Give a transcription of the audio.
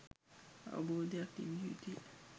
අවබෝධයක් තිබිය යුතුය.